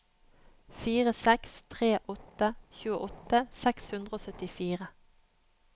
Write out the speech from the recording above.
fire seks tre åtte tjueåtte seks hundre og syttifire